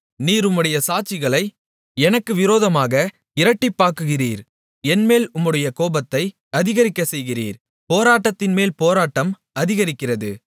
நீர் உம்முடைய சாட்சிகளை எனக்கு விரோதமாக இரட்டிப்பாக்குகிறீர் என்மேல் உம்முடைய கோபத்தை அதிகரிக்கச் செய்கிறீர் போராட்டத்தின்மேல் போராட்டம் அதிகரிக்கிறது